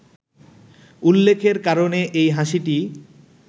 উল্লেখের কারণে এই হাসিটি